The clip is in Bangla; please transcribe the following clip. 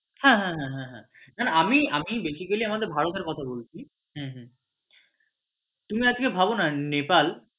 হ্যাঁ হ্যাঁ হ্যাঁ না না আমি আমি basically আমাদের ভারতের কথা বলছি হম হম তুমি আজকে ভাবনা নেপাল